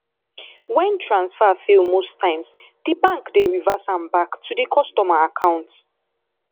when transfer fail most times di bank dey reverse am back to di customer account